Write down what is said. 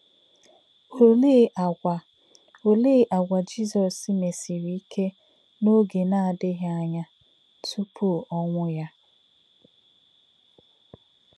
Ọ̀lē̄ àgwà̄ Ọ̀lē̄ àgwà̄ Jizọ́s mè̄sị̀rị̀ íkè̄ n’ógè̄ nā̄-ádí̄ghí̄ ànyá̄ tụ́pụ̀ ọ̀nwú̄ yá̄?